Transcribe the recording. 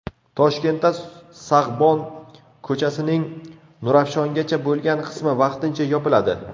Toshkentda Sag‘bon ko‘chasining Nurafshongacha bo‘lgan qismi vaqtincha yopiladi.